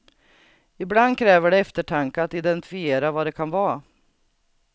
Ibland kräver det eftertanke att identifiera vad det kan vara.